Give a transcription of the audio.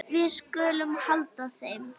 Við skulum halda heim.